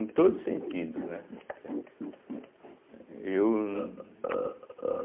Em todos os sentidos, né? entende, né eu